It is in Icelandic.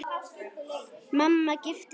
Mamma giftist ekki aftur.